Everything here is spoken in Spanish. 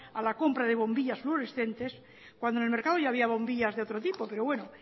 a la compra de bombillas fluorescentes cuando en el mercado ya había bombillas de otro tipo pero bueno